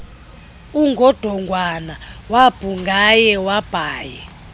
ungodongwana wabhungea wabhaea